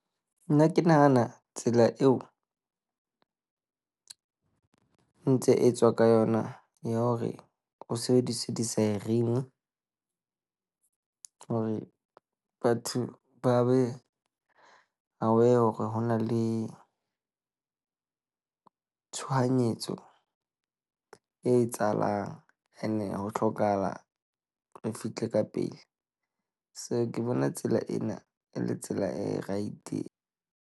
Nna ke nahana tsela eo ntse etswa ka yona ya hore o sebedise di-siren hore batho ba be aware hore ho na le tshohanyetso e etsahalang, ene ho hlokahala re fihle ka pele. So ke bona tsela ena e le tsela e right.